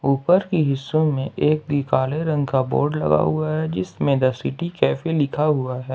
ऊपर के हिस्सों में एक भी काले रंग का बोर्ड लगा हुआ है जिसमें द सिटी कैफे लिखा हुआ है।